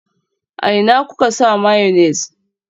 A ina kuka sa mayonnaise?